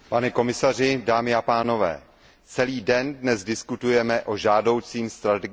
Celý den dnes diskutujeme o žádoucím strategickém směřování Evropské unie.